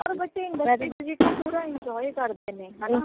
ਔਰ ਬੱਚੇ industry visit ਨੂ ਪੂਰਾ enjoy ਕਰਦੇ ਨੇ ਹੈ ਨਾ